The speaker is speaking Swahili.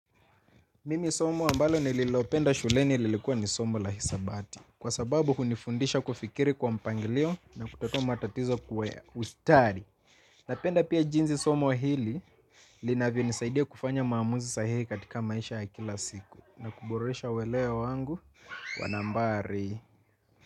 Mimi somo ambalo nililopenda shuleni lilikua ni somo la hisabati. Kwa sababu hunifundisha kufikiri kwa mpangilio na kutatua matatizo kwa ustadi. Napenda pia jinsi somo hili linavyonisaidia kufanya maamuzi sahihi katika maisha ya kila siku, na kuboresha weleo wangu wa nambari.